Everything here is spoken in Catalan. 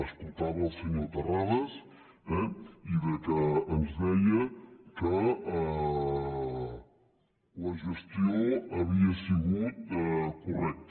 escoltava el senyor terrades eh i ens deia que la gestió havia sigut correcta